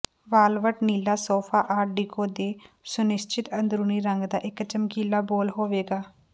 ਵਾਲਵਟ ਨੀਲਾ sofa art deco ਦੇ ਸੁਨਿਸ਼ਚਿਤ ਅੰਦਰੂਨੀ ਰੰਗ ਦਾ ਇਕ ਚਮਕੀਲਾ ਬੋਲ ਹੋਵੇਗਾ